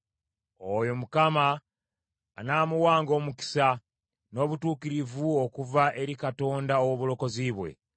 Oyo Mukama anaamuwanga omukisa, n’obutuukirivu okuva eri Katonda ow’obulokozi bwe.